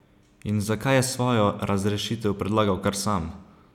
In zakaj je svojo razrešitev predlagal kar sam?